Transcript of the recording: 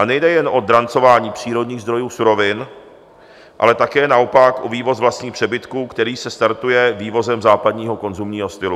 A nejde jen o drancování přírodních zdrojů surovin, ale také naopak o vývoz vlastních přebytků, který se startuje vývozem západního konzumního stylu.